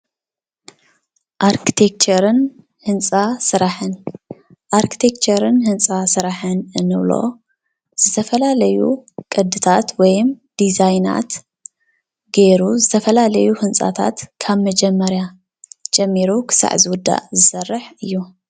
ኣርክቴክቸርን ህንፃ ስራሕን ፦ ኣርክቴክቸርን ህንፃ ስራሕን እንብሎ ዝተፈላለዩ ቅዲታት ወይም ዲዛይናት ገይሩ ዝተፈላለዩ ህንፃታት ካብ መጀመርያ ጀሚሩ ክሳዕ ዝውዳእ ዝሰርሕ እዩ፡፡